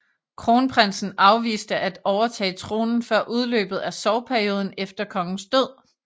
Kronprinsen afviste at overtage tronen før udløbet af sorgperioden efter kongens død